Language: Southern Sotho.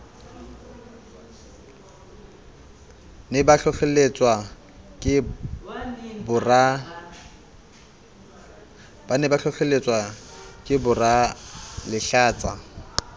ne ba hlohlelletswa ke boralehlatsa